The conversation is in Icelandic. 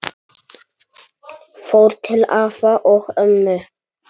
Fór til afa og ömmu.